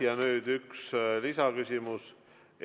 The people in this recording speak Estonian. Ja nüüd üks lisaküsimus.